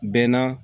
Bɛɛ na